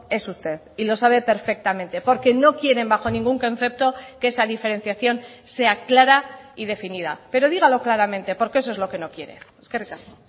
es usted y lo sabe perfectamente porque no quieren bajo ningún concepto que esa diferenciación sea clara y definida pero dígalo claramente porque eso es lo que no quiere eskerrik asko